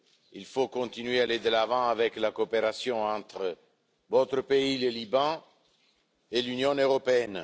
Il faut continuer à aller de l'avant avec la coopération entre votre pays le Liban et l'Union européenne.